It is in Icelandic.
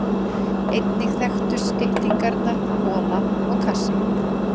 Einnig þekktust styttingarnar hola og kassa.